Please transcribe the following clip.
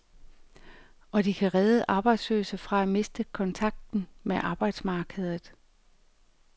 Og de kan redde arbejdsløse fra at miste kontakten med arbejdsmarkedet.